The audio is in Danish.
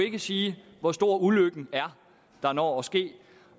ikke sige hvor stor ulykken er der når at ske